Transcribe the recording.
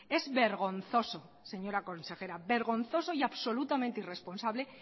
es vergonzoso señora consejera vergonzoso y absolutamente irresponsable